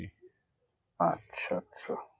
আচ্ছা আচ্ছা আচ্ছা